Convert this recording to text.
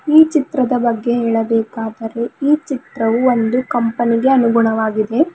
ಈ ಚಿತ್ರದ ಬಗ್ಗೆ ಹೇಳಬೇಕಾದರೆ ಈ ಚಿತ್ರವು ಒಂದು ಕಂಪನಿಗೆ ಅನುಗುಣವಾಗಿದೆ.